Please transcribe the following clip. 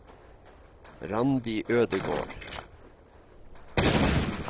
Randi Ødegård